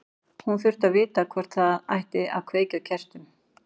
Hún þurfti að vita hvort það ætti að kveikja á kertum.